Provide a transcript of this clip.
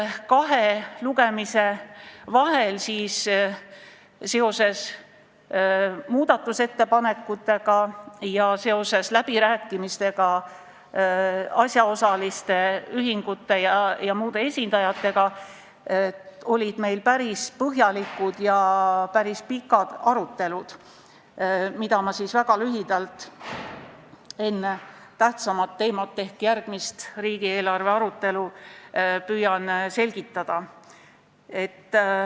Kahe lugemise vahel olid meil seoses muudatusettepanekutega ja läbirääkimistega asjaosaliste ühingute ja muude esindajatega päris põhjalikud ja pikad arutelud, mida ma väga lühidalt enne tähtsamat teemat ehk riigieelarve arutelu püüan selgitada.